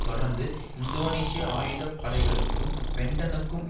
தொடர்ந்து இந்தோனேஷிய ஆயுத படைகளுக்கும் பென்டனுக்கும்